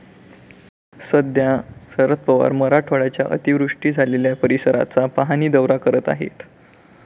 सध्या शरद पवार मराठवाड्याच्या अतिवृष्टी झालेल्या परिसराचा पाहणी दौरा करत आहेत.